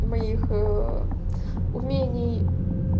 моих умений